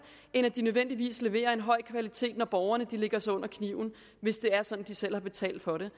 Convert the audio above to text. end at de nødvendigvis leverer en høj kvalitet når borgerne lægger sig under kniven hvis det er sådan at de selv har betalt for det